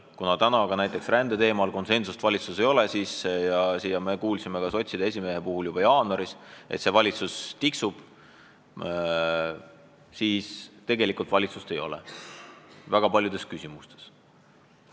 Kuna praegu ka näiteks rändeteemal konsensust valitsuses ei ole ja me kuulsime sotside esimehelt juba jaanuaris, et see valitsus lihtsalt tiksub, siis tegelikult valitsust ei ole väga paljudes küsimustes.